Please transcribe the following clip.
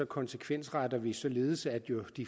konsekvensretter vi således at